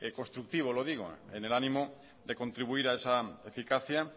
constructivo lo digo en el ánimo de contribuir a esa eficacia